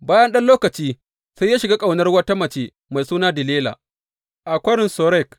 Bayan ɗan lokaci, sai ya shiga ƙaunar wata mace, mai suna Delila a Kwarin Sorek.